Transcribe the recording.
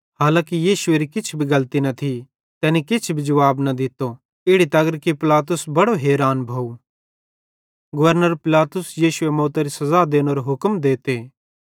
हांलाकि यीशुएरी किछ भी गलती न थी तैनी किछ जुवाब न दित्तो इड़ी तगर कि पिलातुस बड़ो हैरान भोव